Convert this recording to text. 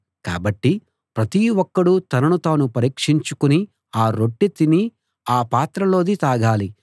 కాబట్టి ప్రతి ఒక్కడూ తనను తాను పరీక్షించుకుని ఆ రొట్టె తిని ఆ పాత్రలోది తాగాలి